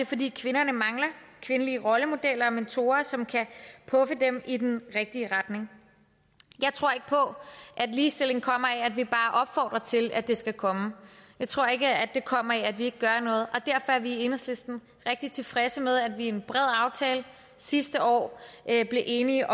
fordi kvinderne mangler kvindelige rollemodeller og mentorer som kan puffe dem i den rigtige retning jeg tror ikke på at ligestilling kommer af at vi bare opfordrer til at det skal komme jeg tror ikke at det kommer af ikke at gøre noget og vi i enhedslisten rigtig tilfredse med at vi i en bred aftale sidste år blev enige